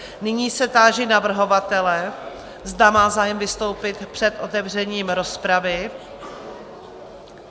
Nyní se táži navrhovatele, zda má zájem vystoupit před otevřením rozpravy?